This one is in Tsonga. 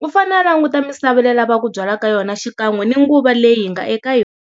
u fanele a languta misava leyi a lavaka ku byala ka yona xikan'we ni nguva leyi hi nga eka yona.